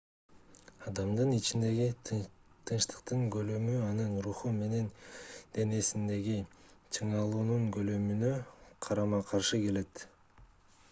адамдын ичиндеги тынчтыктын көлөмү анын руху менен денесиндеги чыңалуунун көлөмүнө карама-каршы келет